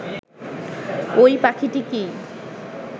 ঐ পাখিকেই